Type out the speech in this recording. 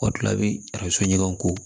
O la bi a bɛ so ɲɔgɔn ko